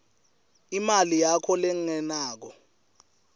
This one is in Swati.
imali yakho lengenako